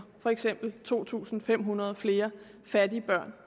for eksempel to tusind fem hundrede flere fattige børn